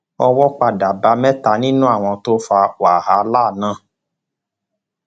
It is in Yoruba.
owó padà bá mẹta nínú àwọn tó fa wàhálà náà